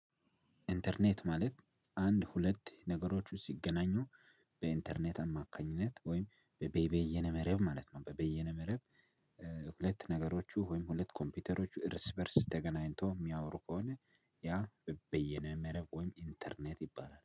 ኢንተርኔት ማለት አንድ ሁለት ነገሮች ሲገናኙ በኢንተርኔት አማካኝነት ወይም በበይነ መረብ ማለት ነው በበይነ መረብ። ሁለት ነገሮቹ ወይም ሁለት ኮምፒውተሮቹ እርስ በእርስ ተገናኝተው የሚያወሩ ከሆነ ያ በየነ መረብ ወይም ኢንተርኔት ይባላል